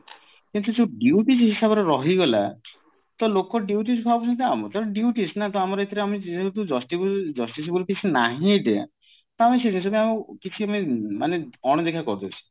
କିନ୍ତୁ ଯୋଉ duties ହିସାବରେ ରହିଗଲା ତ ଲୋକ duties ଭାବୁଛନ୍ତି ଆମର ତ due case ନା ତ ଆମର ଏଥିରେ ଆମେ ଯେହେତୁjusti justice ବୋଲି କିଛି ନାହିଁ ଏଟା ତ କିଛି I mean ମାନେ ଅଣଦେଖା କରି ଦଉଛନ୍ତି